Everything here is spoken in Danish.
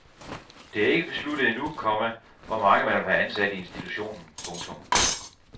Det er ikke besluttet endnu, komma hvor mange man vil have ansat i institutionen. punktum